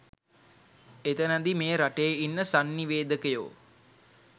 එතනදි මේ රටේ ඉන්න සංනිවේදකයෝ